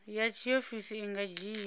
ya tshiofisi i nga dzhia